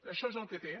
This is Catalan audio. això és el que té